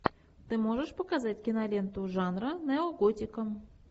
ты можешь показать киноленту жанра неоготика